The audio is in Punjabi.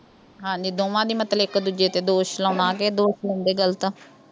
ਹਾਂਜੀ, ਦੋਵਾਂ ਦੀ ਮਤਲਬ ਇੱਕ ਦੂਜੇ ਤੇ ਦੋਸ਼ ਲਾਉਣਾ ਤੇ ਇਹ ਦੋਸ਼ ਲਾਉਂਦੇ ਵੀ ਗਲਤ ਆ।